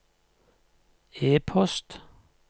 e-post